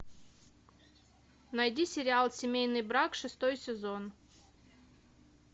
найди сериал семейный брак шестой сезон